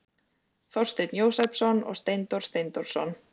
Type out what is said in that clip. þorsteinn jósepsson og steindór steindórsson